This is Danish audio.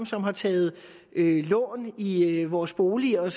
som har taget lån i vores boliger